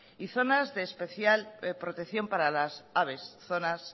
y zonas de especial protección para las aves zonas